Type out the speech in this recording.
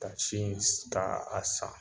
Ka si in ka a san